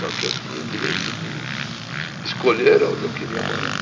Só que eu tinha o direito de escolher onde eu queria morar.